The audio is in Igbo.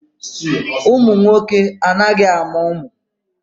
Ụmụ nwoke anaghị amụ ụmụ.